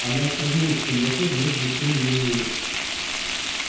она остановилась в темноте вновь блеснули её зубы